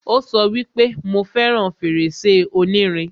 Ó sọ wípé, 'Mo fẹràn fèrèsé onírin'